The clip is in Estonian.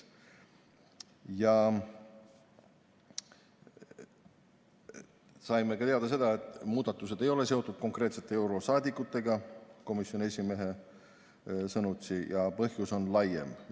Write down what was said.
Saime teada seda, et muudatused ei ole seotud konkreetsete eurosaadikutega, komisjoni esimehe sõnutsi, ja põhjus on laiem.